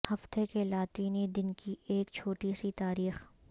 ہفتہ کے لاطینی دن کی ایک چھوٹی سی تاریخ